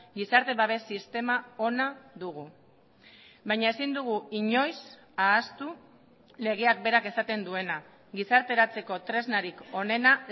gizarte babes sistema ona dugu baina ezin dugu inoiz ahaztu legeak berak esaten duena gizarteratzeko tresnarik onena